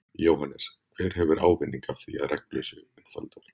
Jóhannes: Hver hefur ávinning af því að reglur séu einfaldaðar?